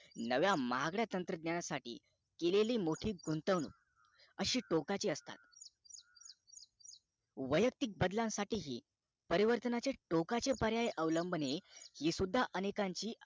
नव्या महागड्या तंत्रज्ञानासाठी केलेली मोठी गुतंवणूक अशी टोकाची असता वयक्तिक बदलासाठी परिवर्तनाचे टोकाचे पर्याय अवलंबणे हे सुद्धा अनेकांची